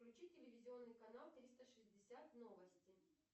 включи телевизионный канал триста шестьдесят новости